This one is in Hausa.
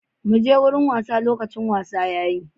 Muje wurin wasa, lokacin wasa yayi.